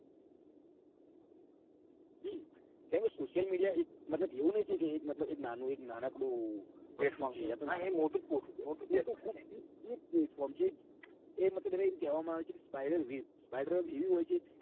હમ કેમકે Social media એક મતલબ એવું ની કે એક નાનું એક નાનકડું platform છે. હા એ મોટું ખુબ છે four g એ મતલબ એ કેહવામાં આવે છે કે spider wave spider wave એવી હોય છે કે.